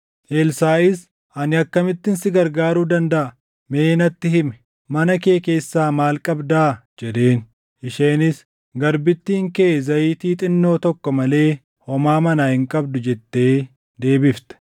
Elsaaʼis, “Ani akkamittin si gargaaruu dandaʼa? Mee natti himi; mana kee keessaa maal qabdaa?” jedheen. Isheenis, “Garbittiin kee zayitii xinnoo tokko malee homaa manaa hin qabdu” jettee deebifte.